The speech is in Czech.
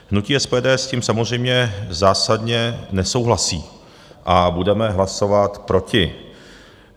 Hnutí SPD s tím samozřejmě zásadně nesouhlasí a budeme hlasovat proti.